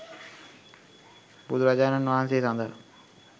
බුදුරජාණන් වහන්සේ සඳහා